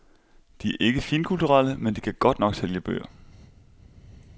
De er ikke finkulturelle, men de kan godt nok sælge bøger.